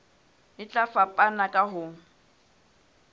e tla fapana ka ho